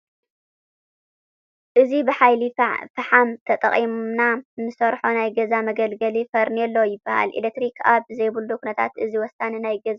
እዚ ብሓይሊ ፈሓም ተጠቒምና ንሰርሐሉ ናይ ገዛ መገልገሊ ፈርኔሎ ይበሃል፡፡ ኤለክትሪክ ኣብ ዘይብሉ ኩነታት እዚ ወሳኒ ናይ ገዛ መሳርሒ እዩ፡፡